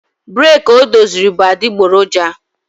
breeki o doziri bụ adịgboroja